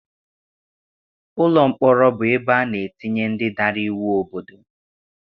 Ụlọ mkpọrọ bụ ebe ana etinye ndị dara iwu obodo.